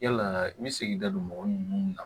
Yalaa i bɛ se k'i da don mɔgɔ minnu na